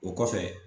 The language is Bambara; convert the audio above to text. O kɔfɛ